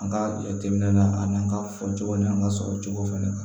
An ka jateminɛ na ani an ka fɔcogo ni an ka sɔrɔ cogo fana kan